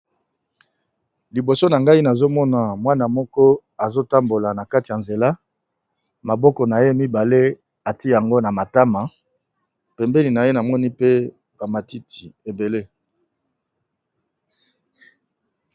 Libosonangayi nazomona mwana muke azotambola nakati yanzela atiye maboko naye na matama pembeni naye monipe pe Tapi yalangi yamayi yapondu